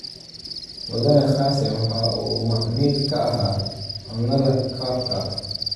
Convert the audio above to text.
Mudane kassim waxa uu macmiil ka ahaa Cunnada Cup-ka.